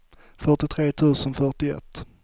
fyrtiotre tusen fyrtioett